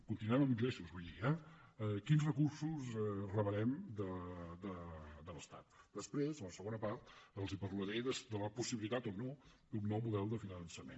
continuem amb ingressos vull dir eh quins recursos rebrem de l’estat després a la segona part els parlaré de la possibilitat o no d’un nou model de finançament